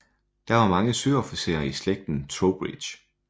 Der var mange søofficerer i slægten Troubridge